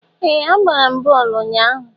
Ee! A gbara bọọlụ ụnyahụ.